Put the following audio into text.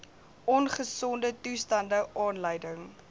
ongesonde toestande aanleiding